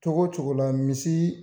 Cogo la cogo la misi